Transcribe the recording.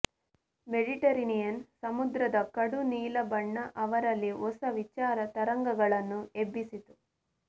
Mediterranean ಸಮುದ್ರದ ಕಡುನೀಲ ಬಣ್ಣ ಅವರಲ್ಲಿ ಹೊಸ ವಿಚಾರ ತರಂಗಗಳನ್ನು ಎಬ್ಬಿಸಿತು